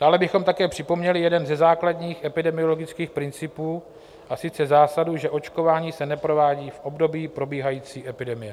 Dále bychom také připomněli jeden ze základních epidemiologických principů, a sice zásadu, že očkování se neprovádí v období probíhající epidemie.